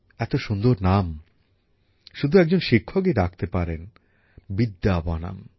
এত সুন্দর নাম শুধু একজন শিক্ষকই রাখতে পারেন বিদ্যাবনম